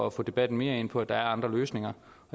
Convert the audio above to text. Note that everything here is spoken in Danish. at få debatten mere ind på at der er andre løsninger